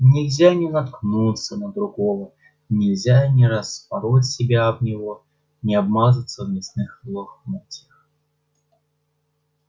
нельзя не наткнуться на другого нельзя не распороть себя об него не обмазаться в мясных лохмотьях